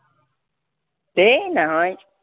এই নহয়